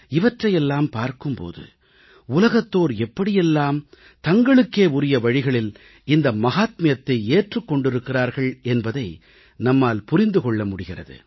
இவற்றையெல்லாம் பார்க்கும் போது உலகத்தோர் எப்படி எல்லாம் தங்களுக்கே உரிய வழிகளில் இந்த மஹாத்மியத்தை ஏற்றுக் கொண்டிருக்கிறார்கள் என்பதை நம்மால் புரிந்து கொள்ள முடிகிறது